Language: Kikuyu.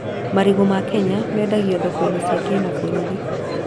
Marigũ ma Kenya mendago thoko-inĩ cia kĩmabũrũri